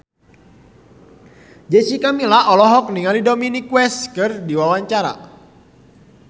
Jessica Milla olohok ningali Dominic West keur diwawancara